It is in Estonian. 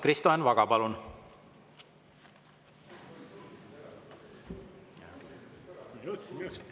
Kristo Enn Vaga, palun!